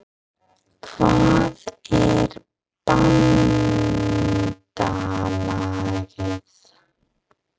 Hvað er BANDALAGIÐ?